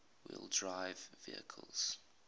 wheel drive vehicles